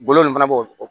Golo nin fana b'o